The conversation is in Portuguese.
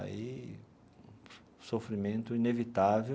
Aí, sofrimento inevitável.